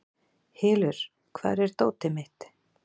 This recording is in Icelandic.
Hylur, hvar er dótið mitt?